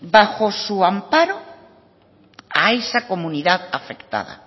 bajo su amparo a esa comunidad afectada